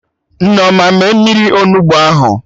Nneoma mee mmiri Onugbu ahụ